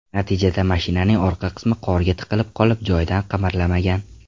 Natijada mashinaning orqa qismi qorga tiqilib qolib, joyidan qimirlamagan.